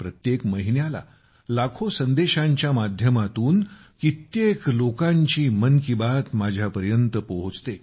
प्रत्येक महिन्याला लाखो संदेशांच्या माध्यमातून कित्येक लोकांची मन की बात माझ्या पर्यंत पोहोचते